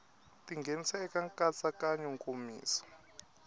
ti nghenisa eka nkatsakanyo nkomiso